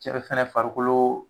Cɛ mun fɛnɛ farikolo